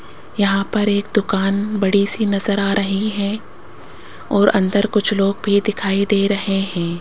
यहां पर एक दुकान बड़ी सी नजर आ रही है और अंदर कुछ लोग भी दिखाई दे रहे हैं।